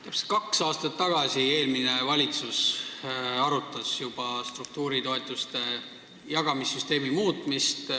Täpselt kaks aastat tagasi arutas juba eelmine valitsus struktuuritoetuste jagamise süsteemi muutmist.